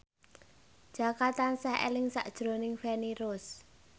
Jaka tansah eling sakjroning Feni Rose